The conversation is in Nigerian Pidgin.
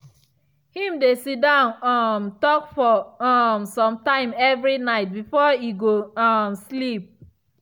him dey sidon um think for um some time every night before e go um sleep.